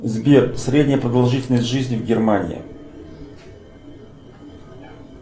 сбер средняя продолжительность жизни в германии